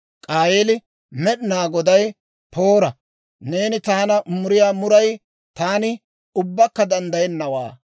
K'aayeeli Med'inaa Godaa, «Poora! Neeni taana muriyaa muray taani ubbakka danddayennawaa.